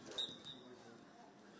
Sən yəni bilirsən ki, sən oyunçusan.